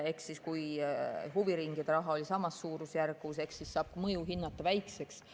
Kui huviringide raha oli samas suurusjärgus, siis saab selle mõju hinnata väikseks.